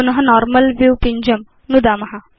पुन normal view पिञ्जं नुदाम